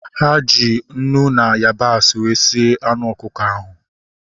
Ha ji unu na yabasị wee sie anụ ọkụkọ ahu